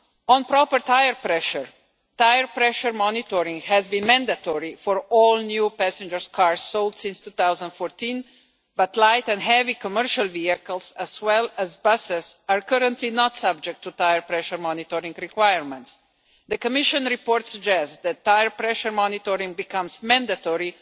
On proper tyre pressure, tyre pressure monitoring has been mandatory for all new passenger cars sold since 2014, but light and heavy commercial vehicles, as well as buses, are currently not subject to tyre pressure monitoring requirements. The Commission report suggests that tyre pressure monitoring should also become mandatory